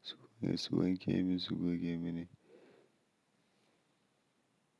su ne su wanke min su goge mini.